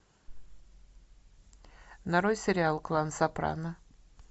нарой сериал клан сопрано